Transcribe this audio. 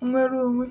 n’nnwere onwe.